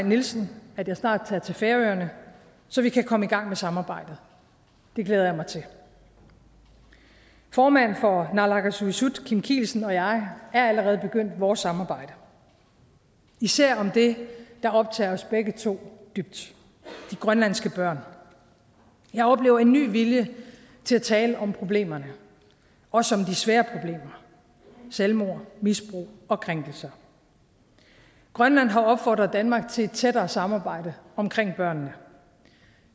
nielsen at jeg snart tager til færøerne så vi kan komme i gang med samarbejdet det glæder jeg mig til formand for naalakkersuisut kim kielsen og jeg er allerede begyndt vores samarbejde især om det der optager os begge to dybt de grønlandske børn jeg oplever en ny vilje til at tale om problemerne også om de svære problemer selvmord misbrug og krænkelser grønland har opfordret danmark til et tættere samarbejde om børnene